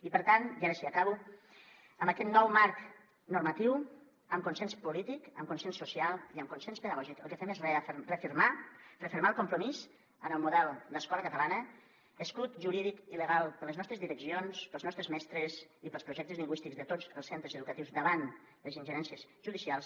i per tant i ara sí acabo amb aquest nou marc normatiu amb consens polític amb consens social i amb consens pedagògic el que fem és refermar refermar el compromís en el model d’escola catalana escut jurídic i legal per a les nostres direccions per als nostres mestres i per als projectes lingüístics de tots els centres educatius davant les ingerències judicials